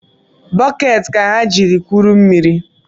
Bokeeti ka ha jiri kụrụ mmiri